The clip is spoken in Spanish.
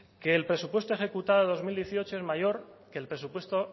que el presupuesto ejecutado de dos mil dieciocho es mayor que el presupuesto